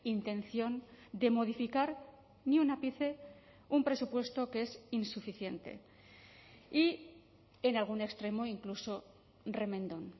intención de modificar ni un ápice un presupuesto que es insuficiente y en algún extremo incluso remendón